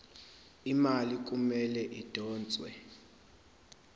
imali kumele idonswe